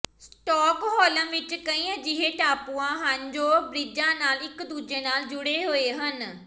Stockholm ਵਿਚ ਕਈ ਅਜਿਹੇ ਟਾਪੂਆਂ ਹਨ ਜੋ ਬ੍ਰਿਜਾਂ ਨਾਲ ਇਕ ਦੂਜੇ ਨਾਲ ਜੁੜੇ ਹੋਏ ਹਨ